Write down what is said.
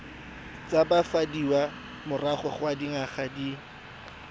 tshabafadiwa morago ga dingwaga di